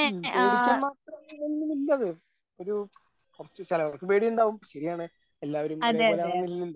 ഉം പേടിക്കാൻ മാത്രം അവിടെ ഒന്നും ഇല്ലവേ. ഒരു പക്ഷെ ചിലവർക്ക് പേടിയുണ്ടാവും. ശരിയാണ് എല്ലാവരും ഒരേപോലെ ആവണമെന്നില്ലല്ലോ.